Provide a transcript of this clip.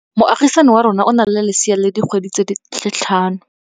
Moagisane wa rona o na le lesea la dikgwedi tse tlhano.